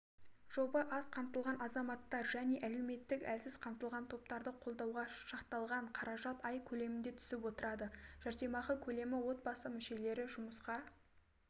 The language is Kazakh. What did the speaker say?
жоба аз қамтылған азаматтар және әлеуметтік әлсіз қамтылған топтарды қолдауға шақталған қаражат ай көлемінде түсіп отырады жәрдемақы көлемі отбасы мүшелері жұмысқа